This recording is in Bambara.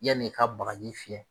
Ya n'i ka bagaji fiyɛ